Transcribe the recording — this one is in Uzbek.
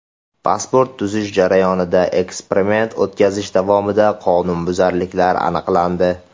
Pasport tuzish jarayonida: Eksperiment o‘tkazish davomida qonunbuzarliklar aniqlandi.